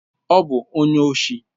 Ọ bụ onye oshi.